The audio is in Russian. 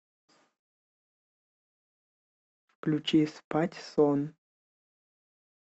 включи спать сон